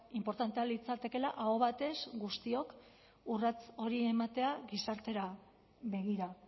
inportantea litzatekeela aho batez guztiok urrats hori ematea gizartera begira